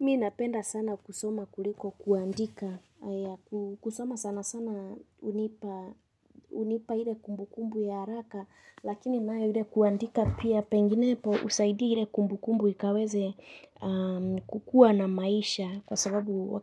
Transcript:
Mimi napenda sana kusoma kuliko kuandika. Kusoma sana sana hunipa ile kumbu kumbu ya haraka lakini nayo ile kuandika pia pengine husaidia ile kumbu kumbu ikaweze kukuwa na maisha. Kwa sababu